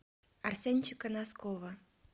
арсенчика носкова